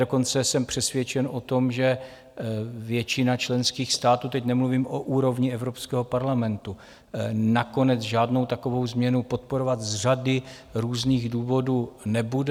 Dokonce jsem přesvědčen o tom, že většina členských států, teď nemluvím o úrovni Evropského parlamentu, nakonec žádnou takovou změnu podporovat z řady různých důvodů nebude.